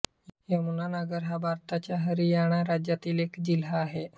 यमुनानगर हा भारताच्या हरियाणा राज्यातील एक जिल्हा आहे